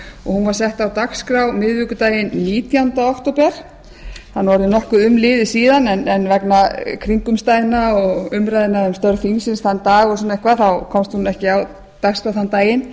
hún var sett á dagskrá miðvikudaginn nítjánda október það er orðið nokkuð umliðið en vegna kringumstæðna og umræðna um störf þingsins þann dag og fleira komst hún ekki á dagskrá þann daginn